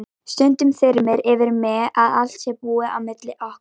Stundum þyrmir yfir mig að allt sé búið á milli okkar.